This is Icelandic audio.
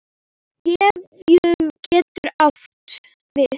Gefjun getur átt við